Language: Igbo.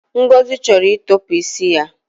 Ngozi chọrọ ịtọpụ isi ya